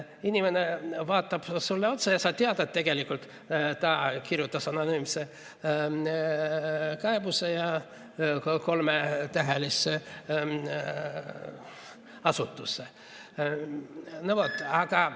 Inimene vaatab sulle otsa ja sa tead, et tegelikult ta kirjutas anonüümse kaebuse kolmetähelisse asutusse.